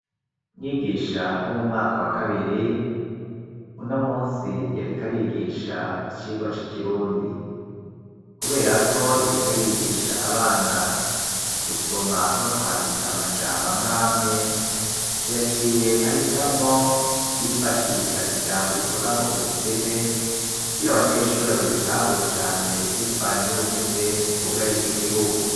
Mwigisha wo mu mwaka wa kabiri uno musi yarika arigisha icirwa c'ikirundi, kubera ko yarika arigisha abana gusoma no kwandika amajambo amwamwe yaciye ahitamwo kwifashisha ijambo rivuga ngo ubukene kugira abanyeshuri babitahure cane bivanye n'ubukene bwo ubwarije igihugu.